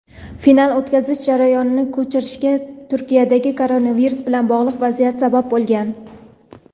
final o‘tkazilish joyining ko‘chirilishiga Turkiyadagi koronavirus bilan bog‘liq vaziyat sabab bo‘lgan.